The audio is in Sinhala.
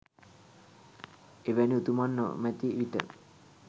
එවැනි උතුමන් නොමැති විට